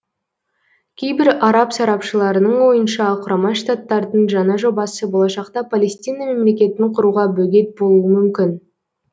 кейбір араб сарапшыларының ойынша құрама штаттардың жаңа жобасы болашақта палестина мемлекетін құруға бөгет болуы мүмкін